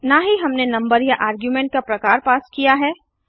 न ही हमने नंबर या आर्ग्युमेंट का प्रकार पास किया है